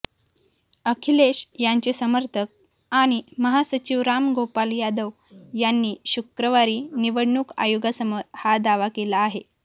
अखिलेश यांचे समर्थक आणि महासचिव रामगोपाल यादव यांनी शुक्रवारी निवडणूक आयोगासमोर हा दावा केला आहे